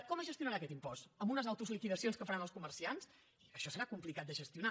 com es gestionarà aquest impost amb unes autoliquidacions que faran els comerciants això serà complicat de gestionar